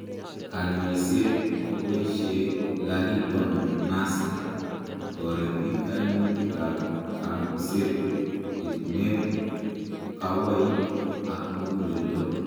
Kanyoiset keboishe Laridonase kotoreti kaimutikab kambuset, etunet, kawoik ak muguleldo.